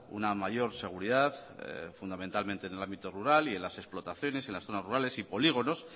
una mayor seguridad fundamentalmente en el ámbito rural y en las explotaciones en las zonas rurales y polígonos